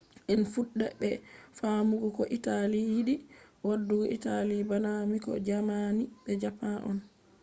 en fuɗɗa be faamugo ko italy yiɗi waɗugo. italy bana miko” jaamani be japan on